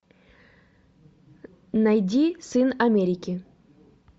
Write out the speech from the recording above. найди сын америки